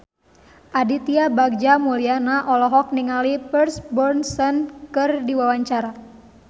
Aditya Bagja Mulyana olohok ningali Pierce Brosnan keur diwawancara